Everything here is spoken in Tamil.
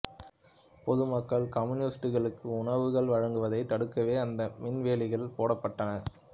பொது மக்கள் கம்யூனிஸ்டுகளுக்கு உணவுகள் வழங்குவதைத் தடுக்கவே அந்த மின்வேலிகள் போடப்பட்டன